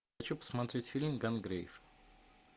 хочу посмотреть фильм гангрейв